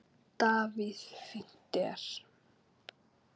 Davíð Fínt er.